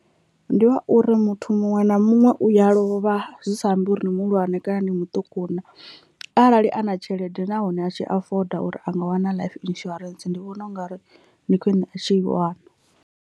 Ndi wa uri muthu muṅwe na muṅwe uya lovha zwi sa ambi uri muhulwane kana ndi muṱuku naa arali a na tshelede nahone a tshi afoda uri a nga wana life insurance ndi vhona ungari ndi khwiṋe a tshi i wana.